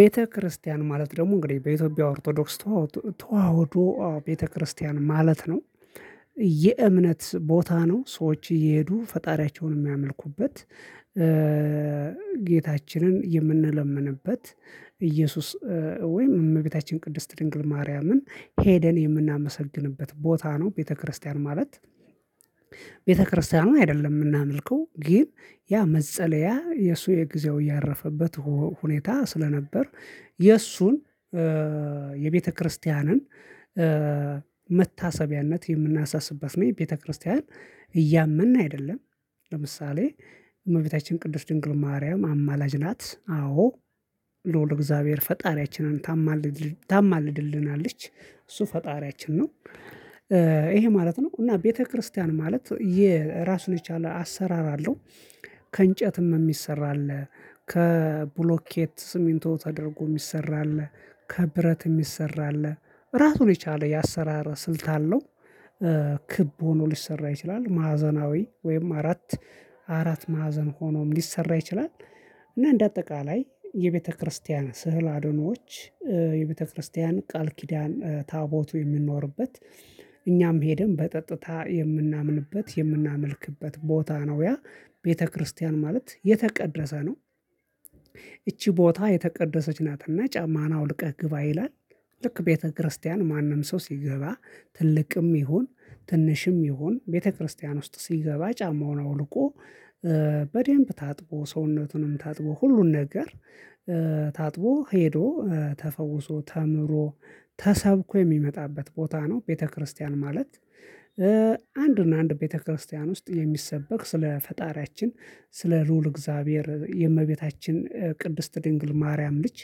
ቤተክርስቲያን ማለት ደግሞ እንግዲህ በኢትዮጵያ ኦርቶዶክስ ተዋህዶ ቤተክርስቲያን ማለት ነው። የእምነት ቦታ ነው ሰዎች እየሄዱ ፈጣሪያቸውን የሚያመልኩበት ጌታችንን የምንለምንበት ኢየሱስ ወይም እመቤታችን ቅድስት ድንግል ማርያምን ሄደን የምናመሰግንበት ቦታ ነው። ቤተክርስቲያን ማለት ቤተክርስቲያኑ አይደለም የምናመልከው ግን ያ መጸለያ የእሱ የእግዚአብሔር እያረፈበት ሁኔታ ስለነበር የእሱን የቤተክርስቲያንን መታሰቢያነት የምናሳስበት ነው። የቤተክርስቲያን እያመን አይደለም ለምሳሌ እመቤታችን ቅዱስ ድንግል ማርያም አማላጅ ናት አዎ ልዑል እግዚአብሔር ፈጣሪያችንን ታማልድ ታማልድልናለች እሱ ፈጣሪያችን ነው። ይሄ ማለት ነው እና ቤተክርስቲያን ማለት የራሱን የቻለ አሰራር አለው። ከእንጨትም የሚሰራ አለ ከብሎኬት ስሚንቶ ተደርጎ የሚሰራ አለ ከብረት የሚሰራ አለ ራሱን የቻለ የአሰራር ስልት አለው። ክብ ሆኖ ሊሰራ ይችላል ማዕዘናዊ ወይም አራት አራት ማዕዘን ሆኖም ሊሰራ ይችላል። እና እንደ አጠቃላይ የቤተክርስቲያን ስዕለ አድኅኖዎች የቤተክርስቲያን ቃል ኪዳን ታቦቱ የምንኖርበት እኛም ሄደን በጠጥታ የምናምንበት የምናመልክበት ቦታ ነው። ያ ቤተክርስቲያን ማለት የተቀደሰ ነው። ይቺ ቦታ የተቀደሰች ናትና ጫማን አውልቀህ ግባ ይላል ልክ ቤተክርስቲያን ማንም ሰው ሲገባ ትልቅም ትንሽም ይሁን ቤተክርስቲያን ውስጥ ሲገባ ጫማውን አውልቆ በደንብ ታጥቦ ሰውነቱንም ታጥቦ ሁሉን ነገር ታጥቦ ሄዶ ተፈውሶ ተምሮ ተሰብኮ የሚመጣበት ቦታ ነው። ቤተክርስቲያን ማለት አንድ እና አንድ ቤተክርስቲያን ውስጥ የሚሰበክ ስለ ፈጣሪያችን ስለ ልዑል እግዚአብሔር የእመቤታችን ቅድስት ድንግል ማርያም ልጅ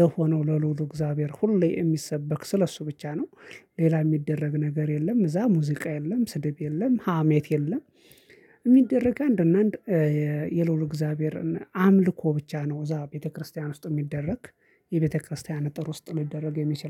ለሆነው ለልዑል እግዚአብሔር ሁሌ የሚሰበክ ስለሱ ብቻ ነው። ሌላ የሚደረግ ነገር የለም እዛ ሙዚቃ የለም ስድብ የለም ሀሜት የለም። የሚደረግ አንድ እና አንድ የልዑል እግዚአብሔርን አምልኮ ብቻ ነው እዛ ቤተክርስቲያን ውስጥ የሚደረግ። የቤተክርስቲያን እጥር ውስጥ ሊደረግ የሚችለው